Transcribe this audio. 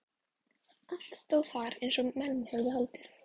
Allt stóð þar eins og menn höfðu haldið.